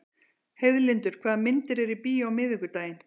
Heiðlindur, hvaða myndir eru í bíó á miðvikudaginn?